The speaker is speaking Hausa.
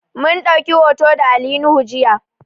Mun ɗauki hoto da Ali nuhu jiya